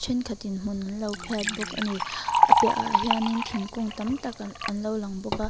thenkhatin hmun an lo phiat bawk ani a piah ah hianin thingkung tam tak a an lo kang bawk a.